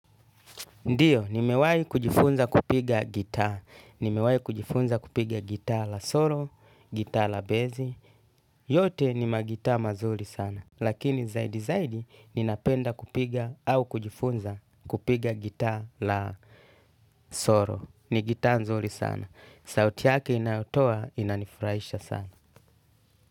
Ndiyo, ni mewahi kujifunza kupiga gitaa. Ni mewai kujifunza kupiga gitaa la solo, gitaa la bezi. Yote ni magitaa mazuri sana. Lakini zaidi zaidi, ni napenda kupiga au kujifunza kupiga gitaa la solo. Ni gitaa nzuri sana. Sauti yake inayotoa, inanifurahisha sana.